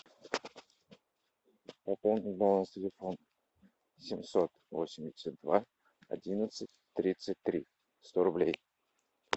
пополнить баланс телефона семьсот восемьдесят два одиннадцать тридцать три сто рублей